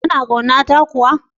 Kana kauna ta kuwa?